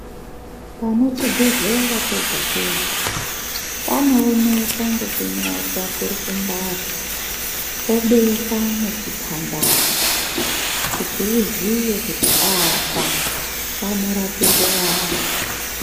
Pane chibhehlera pega-pega panooneka ngekunyorwa kurukumbati pobekwa nechipambano kuti uziye kuti apa panorapirwe vantu.